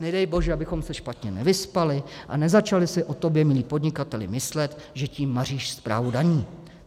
Nedej bože, abychom se špatně vyspali a nezačali si o tobě, milý podnikateli, myslet, že tím maříš správu daní.